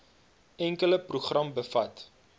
enkele program bevat